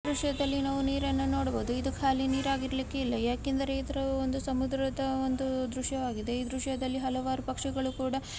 ಈ ದೃಶ್ಯದಲ್ಲಿ ನಾವು ನೀರ ಅನ್ನು ನೋಡಬಹುದು ಇದು ಕಾಲಿ ನೀರಾಗ್ಲಿಕ್ಕಿಲ್ಲ ಯಾಕಂದ್ರೆ ಇದ್ರ ಒಂದು ಸಮುದ್ರದ ಒಂದು ದೃಶ್ಯವಾಗಿದೆ ಈ ದೃಶ್ಯದಲ್ಲಿ ಹಲವಾರು ಪಕ್ಷಿಗಳು ಕೂಡ --